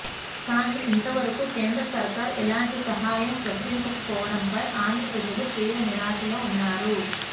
కానీ ఇంతవరకు కేంద్ర సర్కార్ ఎలాంటి సహాయం ప్రకటించకపోవడంపై ఆంధ్ర ప్రజలు తీవ్ర నిరాశలో వున్నారు